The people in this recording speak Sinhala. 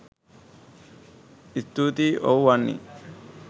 ස්තූතියි ඔව් වන්නි